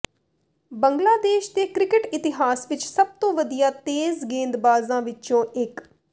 ਬੰਗਲਾਦੇਸ਼ ਦੇ ਕ੍ਰਿਕਟ ਇਤਿਹਾਸ ਵਿੱਚ ਸਭ ਤੋਂ ਵਧੀਆ ਤੇਜ਼ ਗੇਂਦਬਾਜ਼ਾਂ ਵਿੱਚੋਂ ਇੱਕ